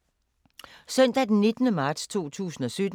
Søndag d. 19. marts 2017